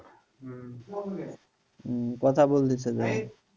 হম